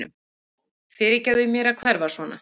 Fyrirgefðu mér að hverfa svona.